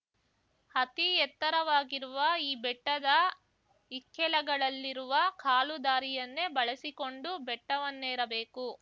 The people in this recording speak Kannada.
ಅತೀ ಎತ್ತರವಾಗಿರುವ ಈ ಬೆಟ್ಟದ ಇಕ್ಕೆಲಗಳಲ್ಲಿರುವ ಕಾಲು ದಾರಿಯನ್ನೇ ಬಳಸಿಕೊಂಡು ಬೆಟ್ಟವನ್ನೇರಬೇಕು